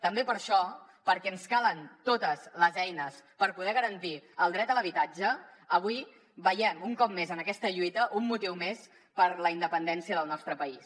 també per això perquè ens calen totes les eines per poder garantir el dret a l’habitatge avui veiem un cop més en aquesta lluita un motiu més per la independència del nostre país